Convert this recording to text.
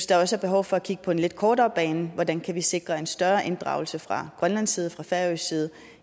der også er behov for at kigge på den lidt kortere bane hvordan vi kan sikre en større inddragelse fra grønlandsk side fra færøsk side